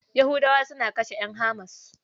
Yahudawa suna kashe ƴan HAMAS.